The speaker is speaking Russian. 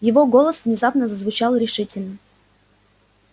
его голос внезапно зазвучал решительно